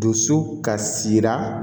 Dusu kasira